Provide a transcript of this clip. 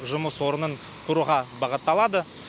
жұмыс орнын құруға бағытталады